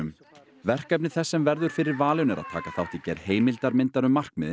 verkefni þess sem verður fyrir valinu er að taka þátt í gerð heimildarmyndar um